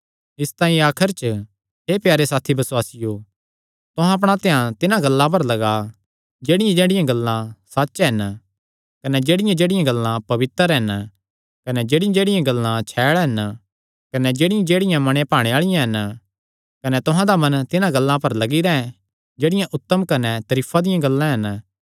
इसतांई आखर च हे प्यारे साथी बसुआसियो तुहां अपणा ध्यान तिन्हां गल्लां पर लग्गा जेह्ड़ियांजेह्ड़ियां गल्लां सच्च हन कने जेह्ड़ियांजेह्ड़ियां गल्लां इज्जता आल़िआं हन कने जेह्ड़ियांजेह्ड़ियां गल्लां खरियां हन कने जेह्ड़ियांजेह्ड़ियां गल्लां पवित्र हन कने जेह्ड़ियांजेह्ड़ियां गल्लां छैल़ हन कने जेह्ड़ियांजेह्ड़ियां मने भाणे आल़िआं हन कने तुहां दा मन तिन्हां गल्लां पर लग्गी रैंह् जेह्ड़ियां उत्तम कने तरीफां दियां गल्लां हन